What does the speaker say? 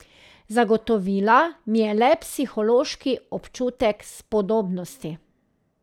Zagotovila mi je le psihološki občutek spodobnosti.